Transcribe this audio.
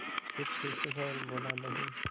फिर सुस्त स्वर में बोला नहीं